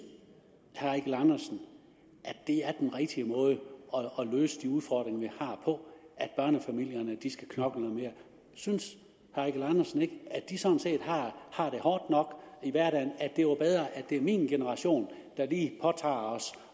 herre eigil andersen at det er den rigtige måde at løse de udfordringer vi har på at børnefamilierne skal knokle noget mere synes herre eigil andersen ikke at de sådan set har det hårdt nok i hverdagen og at det er bedre at det er min generation der lige påtager os